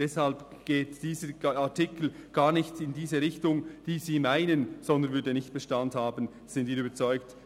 Deshalb geht dieser Artikel gar nicht in diese Richtung, wie Sie meinen, sondern würde nicht vor dem Bundesgericht Bestand haben, davon sind wir überzeugt.